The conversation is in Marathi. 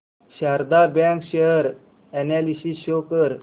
Sharda bank share analysis show कर